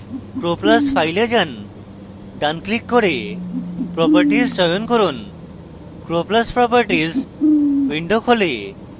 croplus file যান ডান click করে properties চয়ন করুন croplus properties window খোলে